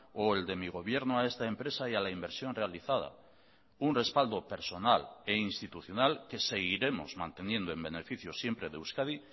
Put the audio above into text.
o el de mi gobierno a esta empresa y a la inversión realizada un respaldo personal e institucional que seguiremos manteniendo en beneficio siempre de euskadi